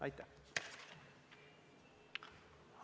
Aitäh!